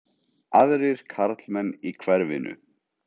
Aðrir karlmenn í hverfinu?